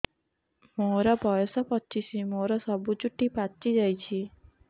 ମୋର ବୟସ ପଚିଶି ମୋର ସବୁ ଚୁଟି ପାଚି ଯାଇଛି